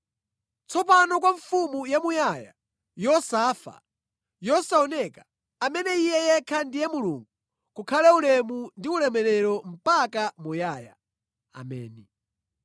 Tsopano kwa Mfumu yamuyaya, yosafa, yosaoneka, amene Iye yekha ndiye Mulungu, kukhale ulemu ndi ulemerero mpaka muyaya. Ameni.